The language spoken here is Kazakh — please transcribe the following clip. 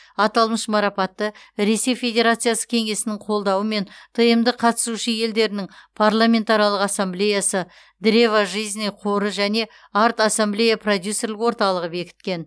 аталмыш марапатты ресей федерациясы кеңесінің қолдауымен тмд қатысушы елдерінің парламентаралық ассамблеясы древо жизни қоры және арт ассамблея продюсерлік орталығы бекіткен